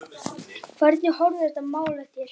Hvernig horfir þetta mál við þér?